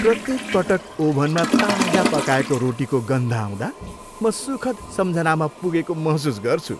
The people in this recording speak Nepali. प्रत्येक पटक ओभनमा ताजा पकाएको रोटीको गन्ध आउँदा म सुखद सम्झनामा पुगेको महसुस गर्छु।